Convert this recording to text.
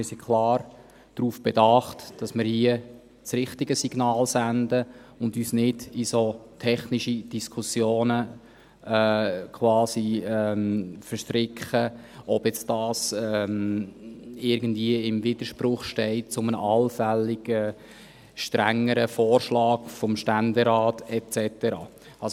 Wir sind klar darauf bedacht, dass wir hier das richtige Signal aussenden und uns nicht quasi in solch technische Diskussionen verstricken, ob das irgendwie im Widerspruch steht zu einem allfälligen strengeren Vorschlag des Ständerats et cetera.